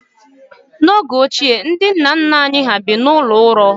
N'oge ochie, ndị nna nna anyị hà bi n'ụlọ ųrő.